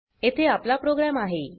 येथे आपला प्रोग्राम आहे